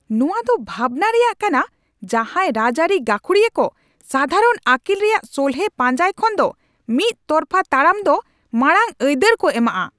ᱱᱚᱶᱟ ᱫᱚ ᱵᱷᱟᱵᱱᱟ ᱨᱮᱭᱟᱜ ᱠᱟᱱᱟ ᱡᱟᱦᱟᱸᱭ ᱨᱟᱡᱽᱟᱹᱨᱤ ᱜᱷᱟᱹᱠᱷᱩᱲᱤᱭᱟᱹ ᱠᱚ ᱥᱟᱫᱷᱟᱨᱚᱱ ᱟᱹᱠᱤᱞ ᱨᱮᱭᱟᱜ ᱥᱚᱞᱦᱮ ᱯᱟᱧᱡᱟᱭ ᱠᱷᱚᱱᱫᱚ ᱢᱤᱫ ᱛᱚᱨᱯᱷᱟ ᱛᱟᱯᱟᱢ ᱫᱚ ᱢᱟᱲᱟᱝ ᱟᱹᱭᱫᱟᱹᱨ ᱠᱚ ᱮᱢᱟᱜᱼᱟ ᱾